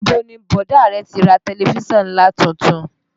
Níbo ni bọ̀dá rẹ ti ra tẹ̀lifísàn ńlá tuntun?